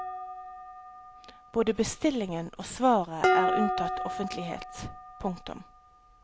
Både bestillingen og svaret er unntatt offentlighet. punktum